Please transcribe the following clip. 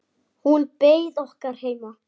Hún beið okkar heima.